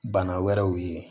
Bana wɛrɛw ye